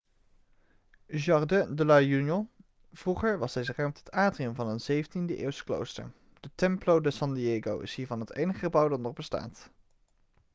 jardín de la unión. vroeger was deze ruimte het atrium van een 17e-eeuws klooster de templo de san diego is hiervan het enige gebouw dat nog bestaat